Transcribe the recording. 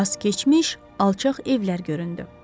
Az keçmiş alçaq evlər göründü.